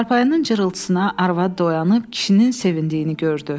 Çarpayının cırıltısına arvad oyanıb kişinin sevindiyini gördü.